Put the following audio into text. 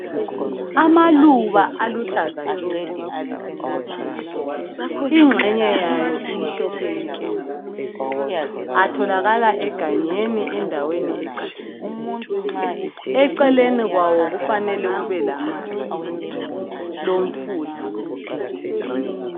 Amaluba aluhlaza tshoko inxenge yayo imhlophe nke atholakala egangeni endaweni ecatshileyo, eceleni kwawo kufanele kube lamanzi lomfula.